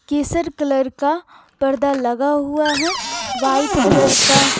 केसर colour का पर्दा लगा हुआ है वाइट कलर का--